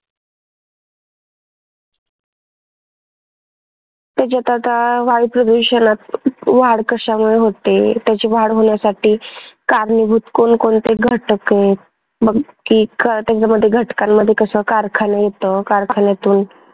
त्याच्यात आता वायू प्रदूषणात वाढ कशामुळे होते? त्याची वाढ होण्यासाठी कारणीभूत कोण कोणते घटक आहेत? मग त्याच्यामध्ये घटकांमध्ये कसं कारखाने येत कारखान्यातून